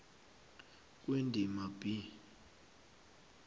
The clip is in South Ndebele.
kwendima b